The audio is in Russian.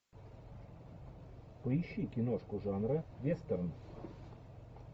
поищи киношку жанра вестерн